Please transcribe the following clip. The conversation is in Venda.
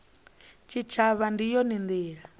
tshitshavha ndi yone ndila ya